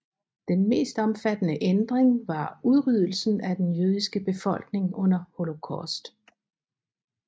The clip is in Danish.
Den mest omfattende ændring var udryddelsen af den jødiske befolkning under Holocaust